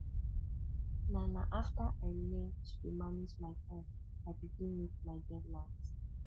na na after i learn to dey manage my time i begin meet my deadlines